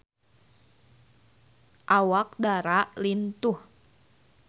Awak Dara lintuh